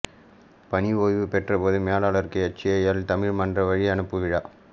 பணி ஓய்வு பெற்ற பொதுமேலாளருக்கு எச்ஏஎல் தமிழ் மன்றம் வழியனுப்பு விழா